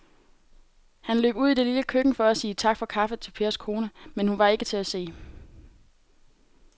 Han løb ud i det lille køkken for at sige tak for kaffe til Pers kone, men hun var ikke til at se.